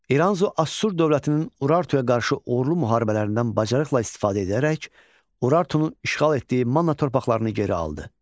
İranzu Assur dövlətinin Urartuya qarşı uğurlu müharibələrindən bacarıqla istifadə edərək Urartunun işğal etdiyi Manna torpaqlarını geri aldı.